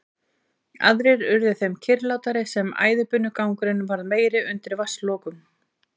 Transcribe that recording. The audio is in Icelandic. Aðrir urðu þeim mun kyrrlátari sem æðibunugangurinn varð meiri undir vatnslokunum.